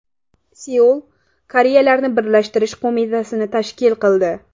Seul Koreyalarni birlashtirish qo‘mitasini tashkil qildi.